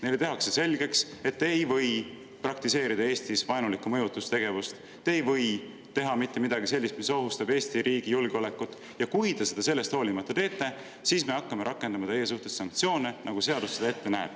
Neile tehakse selgeks, et nad ei või Eestis vaenulikku mõjutustegevust praktiseerida, nad ei või teha mitte midagi sellist, mis ohustab Eesti riigi julgeolekut, ja kui nad seda sellest hoolimata teevad, siis rakendatakse nende suhtes sanktsioone, nagu seadus ette näeb.